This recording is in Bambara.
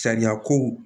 Sariya ko